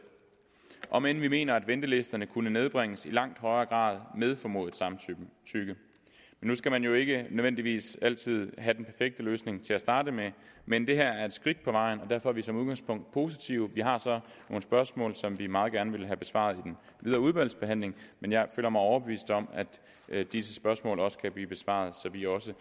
om end vi mener at ventelisterne kunne nedbringes i langt højere grad med formodet samtykke nu skal man jo ikke nødvendigvis altid have den perfekte løsning til at starte med men det her er et skridt på vejen og derfor er vi som udgangspunkt positive vi har så nogle spørgsmål som vi meget gerne vil have besvaret i den videre udvalgsbehandling men jeg føler mig overbevist om at disse spørgsmål også kan blive besvaret så vi også